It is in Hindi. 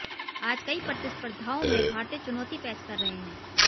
आज कई प्रतिस्पर्धाओं में भारतीय चुनौती पेश कर रहे हैं